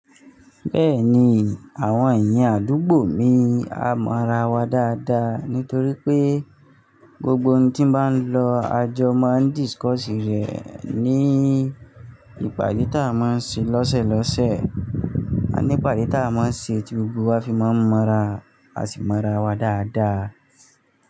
Bẹ́ẹ̀ni, àwọn èèyàn àdúgbò mi a mọ ra wa dáadáa, nítorí pé gbogbo ohun tí n bá lọ àjọ máa ń discuss rẹ̀ ní ìpàdé tá a máa ń ṣe lọ́sẹ̀lọ́sẹ̀, àní ìpàdé tá a máa ń ṣe tí gbogbo wa fi máa ń mọ́ra, a sì mọ ra wa dáadáa.